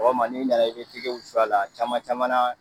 Sɔgɔma ni nana i b'i tɛgɛ wusu a la , a caman caman na